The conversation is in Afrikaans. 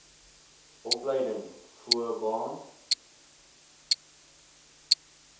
opleiding voo baan